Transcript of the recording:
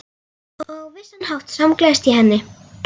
Og á vissan hátt samgleðst ég henni.